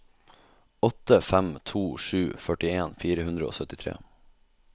åtte fem to sju førtien fire hundre og syttitre